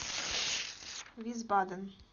висбаден